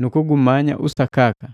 nukugumanya usakaka.